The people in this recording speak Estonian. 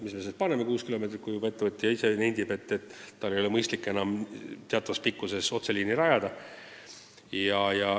Miks me kehtestame kuus kilomeetrit, kui ettevõtja ise saab aru, et tal ei ole arukas pikemat otseliini rajada.